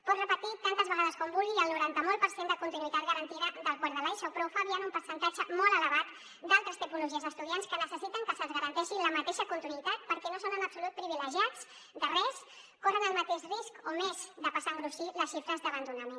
pot repetir tantes vegades com vulgui el noranta molt per cent de continuïtat garantida del quart de l’eso però ho fa obviant un percentatge molt elevat d’altres tipologies d’estudiants que necessiten que se’ls garanteixi la mateixa continuïtat perquè no són en absolut privilegiats de res corren el mateix risc o més de passar a engruixir les xifres d’abandonament